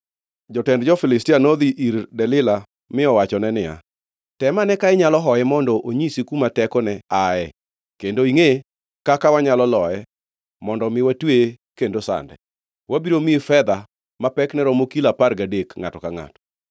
Jotend jo-Filistia nodhi ir Delila mi owachone niya, “Tem ane ka inyalo hoye mondo onyisi kuma tekone ae kendo ingʼe kaka wanyalo loye mondo mi watweye kendo sande. Wabiro miyi fedha ma pekne romo kilo apar gadek ngʼato ka ngʼato.”